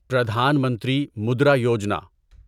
Pradhan Mantri Mudra Yojana